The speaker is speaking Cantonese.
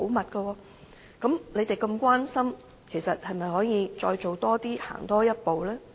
那麼，既然他們如此關心，是否可以再多做一些，行多一步呢？